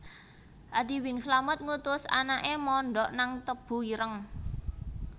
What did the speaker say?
Adi Bing Slamet ngutus anake mondok nang Tebu Ireng